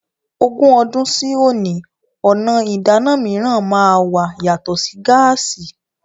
Ogún ọdún sí òní, ọ̀nà ìdáná mìíràn máa wà yàtọ̀ sí gáàsí.